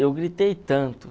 Eu gritei tanto.